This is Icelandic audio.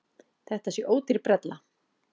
Þetta sé ódýr brella.